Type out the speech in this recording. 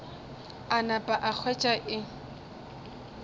a napa a hwetša e